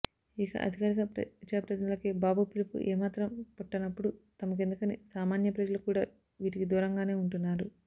ఇక అధికార ప్రజాప్రతినిధులకే బాబు పిలుపు ఏ మాత్రం పట్టనప్పుడు తమకెందుకుని సామాన్య ప్రజలు కూడా వీటికి దూరంగానే ఉంటున్నారు